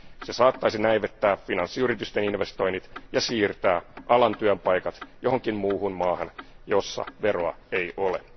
Se saattaisi näivettää finanssiyritysten investoinnit ja siirtää alan työpaikat johonkin muuhun maahan, jossa veroa ei ole.